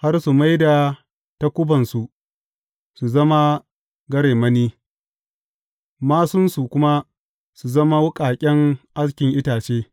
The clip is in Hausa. Har su mai da takubansu su zama garemani, māsunsu kuma su zama wuƙaƙen askin itace.